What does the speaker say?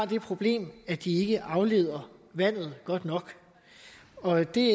det problem at de ikke afleder vandet godt nok og det